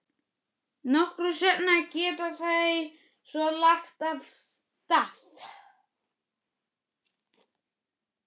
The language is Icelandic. Nokkru seinna geta þau svo lagt af stað.